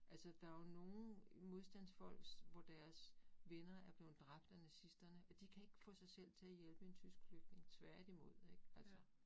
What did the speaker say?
Altså der jo nogen modstandsfolk, hvor deres venner er blevet dræbt af nazisterne, og de kan ikke få sig selv til at hjælpe en tysk flygtning, tværtimod ik altså